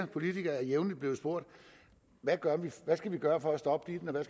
politikere er jævnligt blevet spurgt hvad man skal gøre for at stoppe ditten og